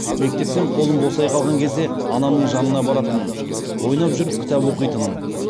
мектептен қолым босай қалған кезде анамның жанына баратынмын ойнап жүріп кітап оқитынмын